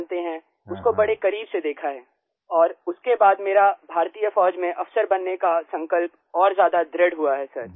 बनते हैं उसको बड़े करीब से देखा है और उसके बाद मेरा भारतीय फौज में अफसर बनने का संकल्प और ज्यादा दृढ़ हुआ है सर